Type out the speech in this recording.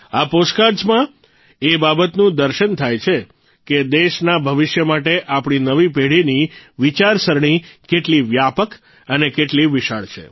આ પોસ્ટકાર્ડઝમાં એ બાબતનું દર્શન થાય છે કે દેશના ભવિષ્ય માટે આપણી નવી પેઢીની વિચારસરણી કેટલી વ્યાપક અને કેટલી વિશાળ છે